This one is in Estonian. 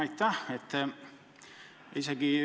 Aitäh!